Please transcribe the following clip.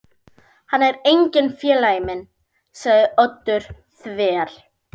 Hann er enginn félagi minn sagði Oddur þver